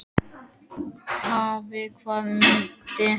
Hafey, hvaða myndir eru í bíó á fimmtudaginn?